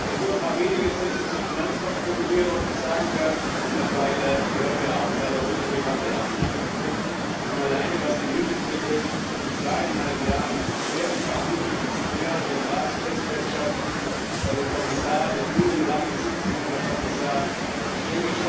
Ich darf ein paar wenige Sätze zur Finanzmarktregulierung sagen darf, weil darüber heute Abend leider ohne Debatte abgestimmt wird Wir haben alleine, was die MiFID betrifft, in zweieinhalb Jahren schwerer Verhandlungen mit mehreren Ratspräsidentschaften Sie werden sich daran erinnern, Herr Kommissar